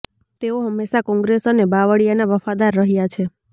તેઓ હંમેશા કોંગ્રેસ અને બાવળિયાના વફાદાર રહ્યા છે